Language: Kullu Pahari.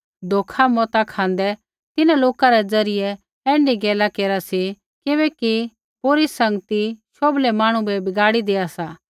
धोखा मत खाँदै तिन्हां लोका रै ज़रियै ऐण्ढी गैला केरा सी किबैकि बुरी संगत शोभलै मांहणु बै बिगाड़ी देआ सा